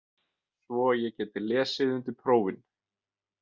Svo ég geti lesið undir prófin.